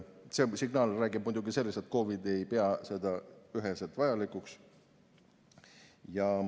See signaal räägib muidugi sellest, et KOV‑id ei pea seda üheselt vajalikuks.